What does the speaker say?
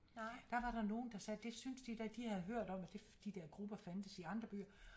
Der var der nogle der sagde det synes de da de havde hørt om at de dér grupper fandtes i andre byer